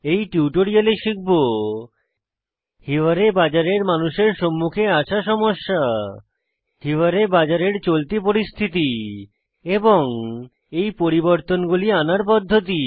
এই টিউটোরিয়ালে শিখব হিওয়ারে বাজার এর মানুষের সম্মুখে আসা সমস্যা হিওয়ারে বাজার এর চলতি পরিস্থিতি এবং এই পরিবর্তনগুলি আনার পদ্ধতি